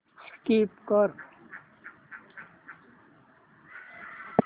skip कर